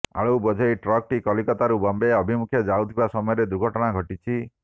ଆଳୁବୋଝେଇ ଟ୍ରକଟି କଲିକତା ରୁ ବମ୍ବେ ଅଭିମୁଖେ ଯାଉଥିବା ସମୟରେ ଦୁର୍ଘଟଣା ଘଟିଛି